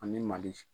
Ani mali